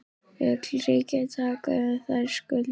Vill ríkið taka yfir þær skuldir?